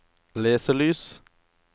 leselys